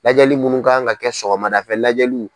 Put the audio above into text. Lajɛli minnu kan ka kɛ sɔgɔmada fɛ lajɛliw